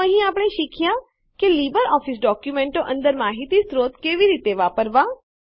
તો અહીં આપણે શીખ્યાં કે લીબરઓફીસ ડોક્યુંમેંટો અંદર માહિતી સ્ત્રોતો કેવી રીતે વાપરવાં